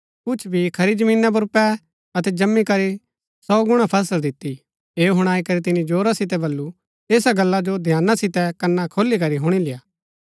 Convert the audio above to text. कुछ बी खरी जमीना पुर पै अतै जम्‍मी करी सौ गुणा फसल दिती ऐह हुणाई करी तिनी जोरा सितै वल्‍लु ऐसा गल्ला जो ध्याना सितै कन्‍ना खोली करी हुणी लेय्आ